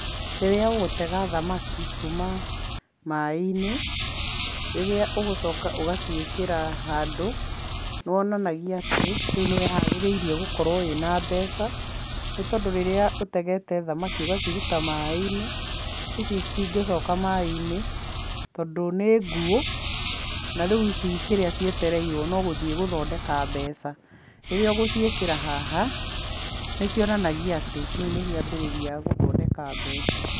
Rĩrĩa ũgũtega thamaki kuma maĩ-inĩ, rĩrĩa ũgũcoka ũgũciĩkĩra handũ nĩ wonanagia atĩ nĩwĩharĩrĩirie gũkorwo wĩna mbeca nĩtondũ rĩrĩa ũtegete thamaki ĩgaciruta maĩ-inĩ, ici citingĩcoka maĩ-inĩ tondũ nĩ nguũ. Na rĩu ici kĩrĩa cietererwo no gũthiĩ gũthondeka mbeca. Rĩrĩa ũgũciĩkĩra haha nĩ cionanagia atĩ, rĩũ nĩ ciambĩrĩria gũthondeka mbeca.